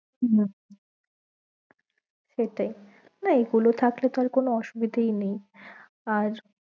হম সেটাই, না এইগুলো থাকলে তো আর কোনো অসুবিধাই নেই